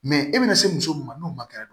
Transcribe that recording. Mɛ e bɛna se muso ma n'o ma kɛ